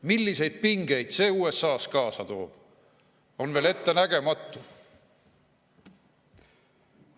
Milliseid pingeid see USA‑s kaasa toob, on veel ettenägematu.